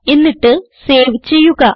എന്നിട്ട് സേവ് ചെയ്യുക